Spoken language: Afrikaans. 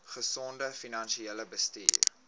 gesonde finansiële bestuur